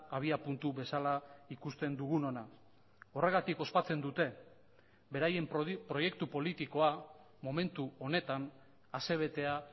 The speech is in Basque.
abiapuntu bezala ikusten dugunona horregatik ospatzen dute beraien proiektu politikoa momentu honetan asebetea